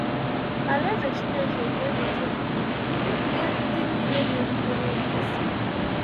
Alaeze Chineke ga-eweta udo nye ndị niile na-erubere ya isi.